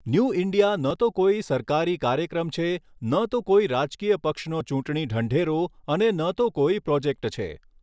New India ન તો કોઈ સરકારી કાર્યક્રમ છે, ન તો કોઈ રાજકીય પક્ષનો ચૂંટણી ઢંઢેરો અને ન તો કોઈ પ્રોજેક્ટ છે.